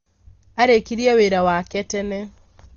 Arĩkirie wĩra wake tene